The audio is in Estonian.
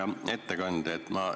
Hea ettekandja!